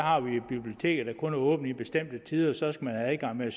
har bibliotekerne kun åbent på bestemte tider og så skal man have adgang med